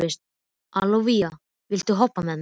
Ólavía, viltu hoppa með mér?